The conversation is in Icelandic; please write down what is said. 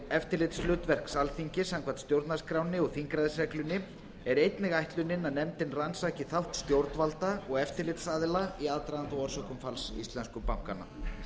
eftirlitshlutverks alþingis samkvæmt stjórnarskránni og þingræðisreglunni er einnig ætlunin að nefndin rannsaki þátt stjórnvalda og eftirlitsaðila í aðdraganda og orsökum falls íslensku bankanna